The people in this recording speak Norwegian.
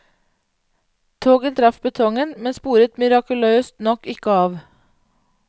Toget traff betongen, men sporet mirakuløst nok ikke av.